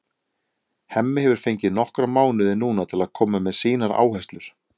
Hemmi hefur fengið nokkra mánuði núna til að koma með sínar áherslur.